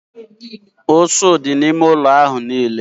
Ụsụ dị n'ime ụlọ ahụ niile